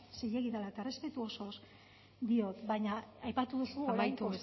zilegi dela eta errespetu osoz diot baina aipatu duzu amaitu